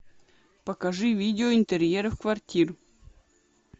покажи видео интерьеров квартир